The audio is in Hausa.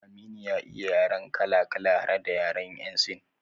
Aminu ya iya yaren kala kala har da yaren yan sin